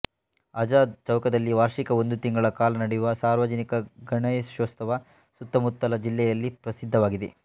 ಆಝಾದ್ ಚೌಕದಲ್ಲಿ ವಾರ್ಷಿಕ ಒಂದು ತಿಂಗಳ ಕಾಲ ನಡೆಯುವ ಸಾರ್ವಜನಿಕಗಣೇಶೋತ್ಸವ ಸುತ್ತಮುತ್ತಲ ಜಿಲ್ಲೆಯಲ್ಲೇ ಪ್ರಸಿದ್ಧವಾಗಿದೆ